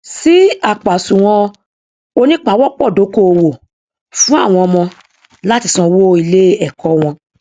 ṣí àpòàsùwọn onípawọpọdókòwò fún àwọn ọmọ láti san owó iléẹkọ wọn